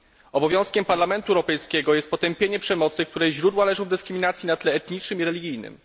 Obowiązkiem Parlamentu Europejskiego jest potępienie przemocy, której źródła leżą w dyskryminacji na tle etnicznym i religijnym.